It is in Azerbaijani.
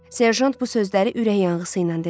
Serjant bu sözləri ürək yanğısı ilə dedi.